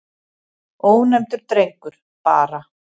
Ónefndur drengur: Bara.